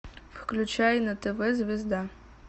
включай на тв звезда